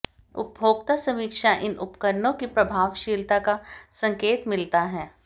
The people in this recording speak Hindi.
उपभोक्ता समीक्षा इन उपकरणों की प्रभावशीलता का संकेत मिलता है